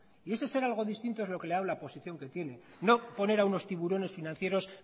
y ese ser algo distinto es lo que le ha dado la posición que tiene no poner a unos tiburones financieros